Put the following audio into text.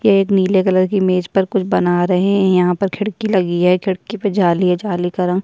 ये एक नीले कलर की मेज़ पर कुछ बना रहे हैं यहाँ पर खिड़की लगी है खिड़की पे जाली है जाली का रंग --